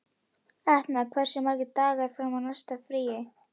Etna, hversu margir dagar fram að næsta fríi?